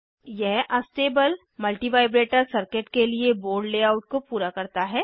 यह astable multivibrator circuit के लिए बोर्ड लेआउट को पूरा करता है